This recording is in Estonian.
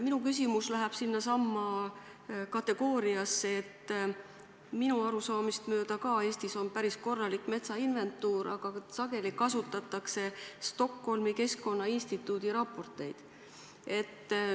Minu küsimus läheb sellesse kategooriasse, et minu arusaamist mööda on ka Eestis päris korralik metsainventuur, aga sageli kasutatakse Stockholmi Keskkonnainstituudi raporteid.